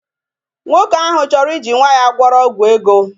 Nwoke ahụ chọrọ iji nwa ya gwọrọ ọgwụ ego